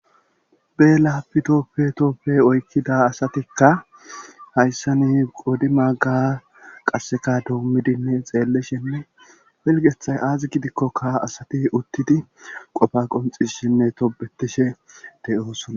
beela pitoppe toppe oykkida asatikka hayssa ni qodi magga qasseka doommidinne xeellishenne filgethay aazi gidikkokka asati uttidi qofa qonxi shinne tobetishe de7oosona